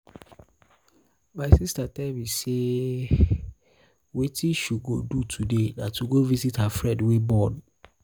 my sister tell me say wetin she go do today na to go visit her friend wey born